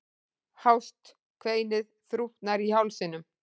Hást kveinið þrútnar í hálsinum.